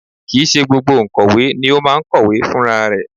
Kì í ṣe gbogbo òǹkọ̀wé ni ó máa ń kọ̀wé fún rarẹ̀